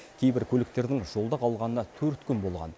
кейбір көліктердің жолда қалғанына төрт күн болған